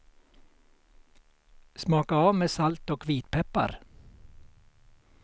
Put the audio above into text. Smaka av med salt och vitpeppar.